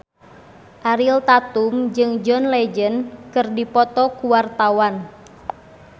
Ariel Tatum jeung John Legend keur dipoto ku wartawan